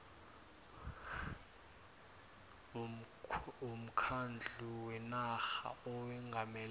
womkhandlu wenarha owengamele